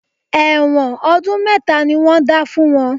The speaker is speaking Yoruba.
Ẹ̀wọ̀n ọdún mẹ́ta ni wọ́n dá fún wọn